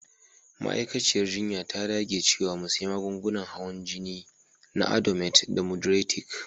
Ma'aikaciyar jinya ta dage cewa mu sy magungunan hawan jini na Adomet da moduretik.